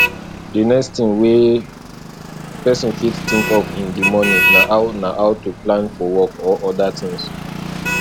the next thing wey person fit think of in di morning na how na how to plan for work or oda things